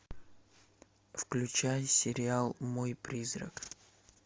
включай сериал мой призрак